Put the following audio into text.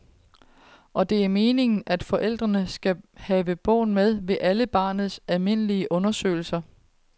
Og det er meningen, at forældrene skal have bogen med ved alle barnets almindelige undersøgelser.